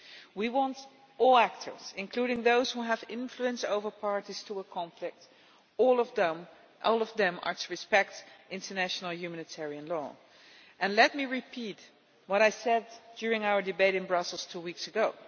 We want all actors, including those who have influence over parties to a conflict all of them to respect international humanitarian law. Let me repeat what I said during our debate in Brussels two weeks ago.